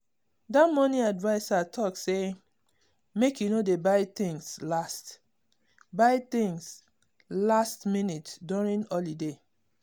dat money adviser talk say make you no dey buy things last buy things last minute during holiday.